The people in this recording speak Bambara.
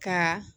Ka